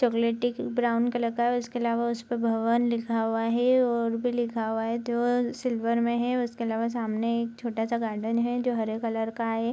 चॉकलेटी brown colour का है उसके अलावा उसपे भवन लिखा हुआ है और भी लिखा हुआ है जो सिल्वर में है उसके आलावा सामने एक छोटा सा गार्डन है जो हरे कलर का है।